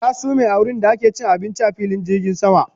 Ta sume a wurinda ake cin abinci a filin jirgin sama